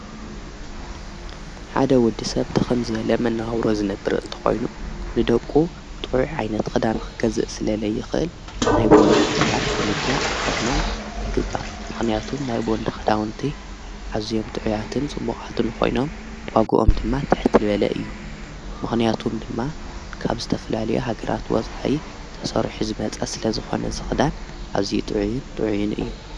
ሓደ ወዲ ሰብ ድኸምዘ ለመናውሮ ዝነብር እንተኾይኑ ንደቁ ጥዑዕ ኣይነቲ ኽዳን ኽገዝእ ስለለይኽእል ናይ ቦወንዳ ኽዳን ብምግዛዕ ክኸድኖም ይግባእ ምኽንያቱም ናይ ብወንዳ ኽዳውንቲ ዓዙዮም ጥዕያትን ጽቡቓትን ኾይኖም ዋጕኦም ድማ ትኅትልበለ እዩ ምኽንያቱም ድማ ካብ ዝተፍላልዮ ሃገራት ወጽዓይ ተሠርሕ ዝመጸ ስለ ዝኾነ ዝኽዳን ኣዚይ ጥዑይን ጥዕይን እዩ።